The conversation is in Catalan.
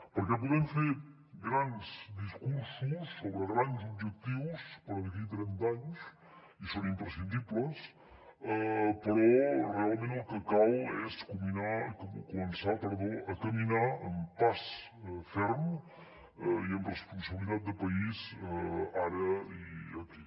perquè podem fer grans discursos sobre grans objectius per d’aquí trenta anys i són imprescindibles però realment el que cal és començar a caminar amb pas ferm i amb responsabilitat de país ara i aquí